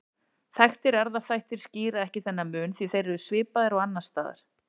Þekktir erfðaþættir skýra ekki þennan mun því þeir eru svipaðir og annars staðar.